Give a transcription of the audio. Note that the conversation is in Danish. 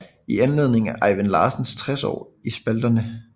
I anledning af Ejvind Larsens 60 år i spalterne